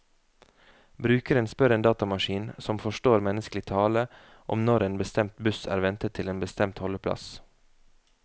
Brukeren spør en datamaskin, som forstår menneskelig tale, om når en bestemt buss er ventet til en bestemt holdeplass.